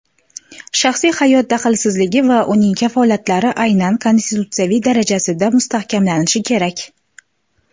shaxsiy hayot daxlsizligi va uning kafolatlari aynan Konstitutsiya darajasida mustahkamlanishi kerak.